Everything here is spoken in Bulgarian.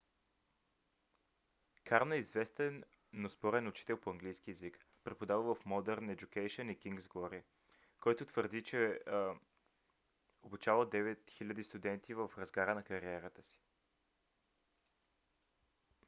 карно е известен но спорен учител по английски език преподавал в modern education и king's glory който твърди че е обучавал 9000 студенти в разгара на кариерата си